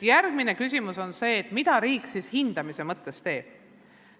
Järgmine küsimus on see, mida riik hindamise mõttes teeb.